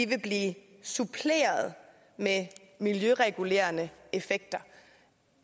vil blive suppleret med miljøregulerende effekter